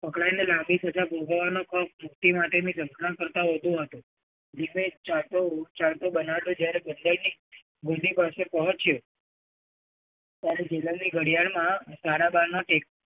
અકળાઈને પણ લાંબી સજા મુક્તિ માટેની ઝંખના કરતાં પણ વધુ હતો. ધીમે ચારકો બર્નાડો જ્યારે બુંબાઈની મિનિ કસએ પહોંચ્યો ત્યારે જીલાની ઘડિયાળમાં સાડા બાર ના ટેક